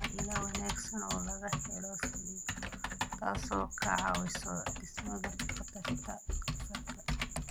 Waa il wanaagsan oo laga helo selenium, taasoo ka caawisa dhimista khatarta kansarka.